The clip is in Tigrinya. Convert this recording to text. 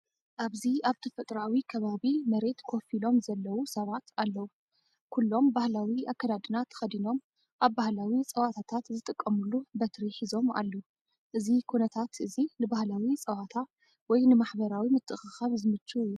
ኣብዚ ኣብ ተፈጥሮኣዊ ከባቢ መሬት ኮፍ ኢሎም ዘለዉ ሰባት ኣለዉ። ኩሎም ባህላዊ ኣከዳድና ተኸዲኖም ኣብ ባህላዊ ጸወታታት ዝጥቀሙሉ በትሪ ሒዞም ኣለዉ። እዚ ኩነታት እዚ ንባህላዊ ጸወታ ወይ ንማሕበራዊ ምትእኽኻብ ዝምችእ እዩ።